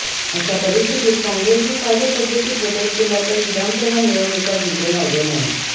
अशा परिस्थितीत काँग्रेसने कार्यपद्धतीत बदल केला तर विधानसभा निवडणुका जिंकणे अवघड नाही